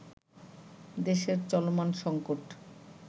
দেশের চলমান সঙ্কট